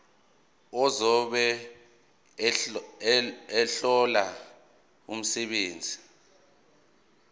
ozobe ehlola umsebenzi